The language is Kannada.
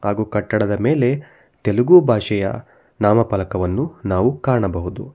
ಹಾಗು ಕಟ್ಟಡದ ಮೇಲೆ ತೆಲುಗು ಭಾಷೆಯ ನಾಮಫಲಕವನ್ನು ನಾವು ಕಾಣಬಹುದು.